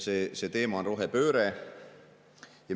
See teema on rohepööre.